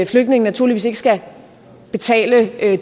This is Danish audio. flygtninge naturligvis ikke skal betale